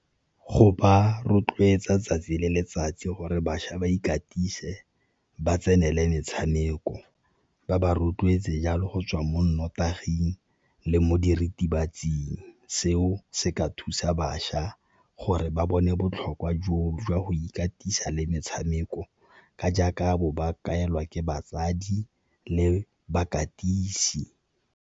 Go ba rotloetsa 'tsatsi le letsatsi gore bašwa ba ikatise ba tsenele metshameko, ba ba rotloetse jalo go tswa mo nnotaging le mo diritibatsing. Seo se ka thusa bašwa gore ba bone botlhokwa joo jwa go ikatisa le metshameko ka jaaka bo ba kaelwa ke batsadi le bakatisi.